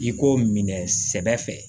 I k'o minɛ sɛbɛ fɛ